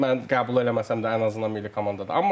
Mən qəbul eləməsəm də ən azından milli komandadır.